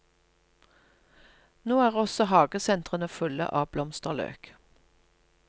Nå er også hagesentrene fulle av blomsterløk.